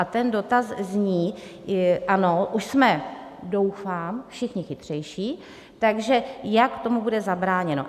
A ten dotaz zní: Ano, už jsme, doufám, všichni chytřejší, takže jak tomu bude zabráněno?